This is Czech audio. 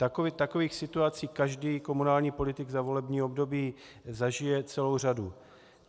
Takových situací každý komunální politik za volební období zažije celou řadu.